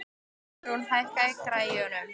Ölrún, hækkaðu í græjunum.